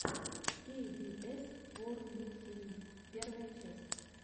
кей би эс ворлд ти ви первая часть